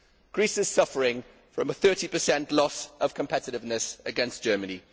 Greece is suffering from a 30 loss of competitiveness against Germany.